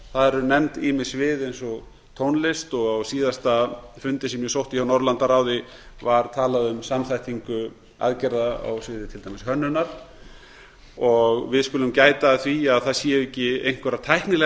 eru nefnd ýmis svið eins og tónlist á síðasta fundi sem ég sótti hjá norðurlandaráði var talað um samþættingu aðgerða á sviði til dæmis hönnunar við skulum gæta að því að það sé ekki einhverjar tæknilegar